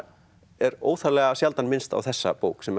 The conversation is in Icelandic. er óþarflega sjaldan minnst á þessa bók sem